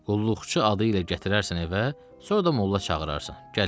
Qulluqçu adı ilə gətirərsən evə, sonra da molla çağırarsan, gələr.